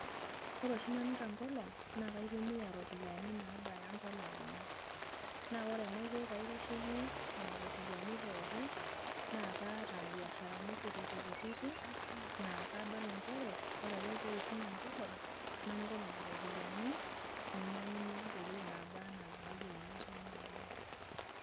ore oshi nanu tenkolong naa kaitumia iropiyiani, nabaya impala, uni. naa ore enaiko pee aitasheki nena ropiyiani pookin.na kaata biasharani kutiti kutiti. naa kadol nchere ore ake pee eishunye enkolong'nanoto nena ropiyiani, nainyiang'unye ntokitin naaba anaa inayienu tena olong'.